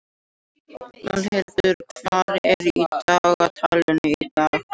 Valhildur, hvað er í dagatalinu í dag?